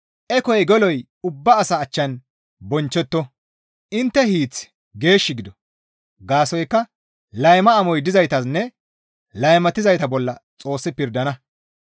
Ekoy geloy ubba asaa achchan bonchchetto; intte hiiththi geesh gido; gaasoykka layma amoy dizayta bollanne laymatizayta bolla Xoossi pirdana.